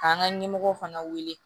K'an ka ɲɛmɔgɔw fana wele